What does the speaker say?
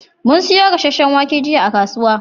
Mun siyo gasashen wake jiya a kasuwa